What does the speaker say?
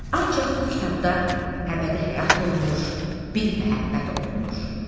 Ancaq bu kitabda əbədi həyat olmuş bir məhəbbət oxunur.